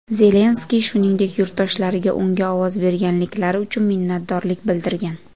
Zelenskiy shuningdek yurtdoshlariga unga ovoz berganliklari uchun minnatdorlik bildirgan.